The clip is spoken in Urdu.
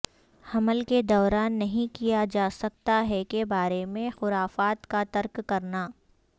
حمل کے دوران نہیں کیا جا سکتا ہے کے بارے میں خرافات کا ترک کرنا